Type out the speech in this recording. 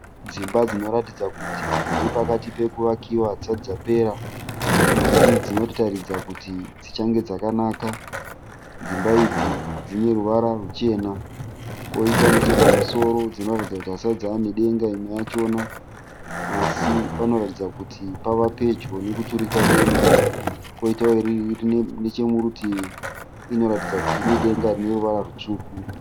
Dzimba dzinoratidza kuti dzirikapati pekuvakiwa hadzisati dzapera. Asi dzinotaridza kuti dzichange dzakanaka. Dzimba idzi dzineruvara ruchena, koita nechepamusoro dzinoratidza kuti hadzisati dzavanedenga imwe yachona. Asi panoratidza kuti pavapedyo nekuturikwa denga. Koita irinechomurutivi inoratidza kuti ine denga rineruvara rwutsvuku.